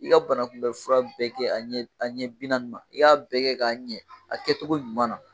I ka banakunbɛ fura bɛɛ kɛ an ɲɛ bi naani ma i k'a bɛɛ kɛ ka ɲɛ a kɛcogo ɲuman na